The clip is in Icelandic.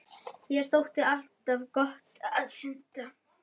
Þér þótti alltaf gott að synda